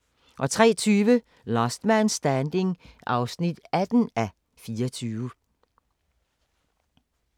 03:20: Last Man Standing (18:24)